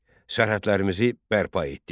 Sərhədlərimizi bərpa etdik.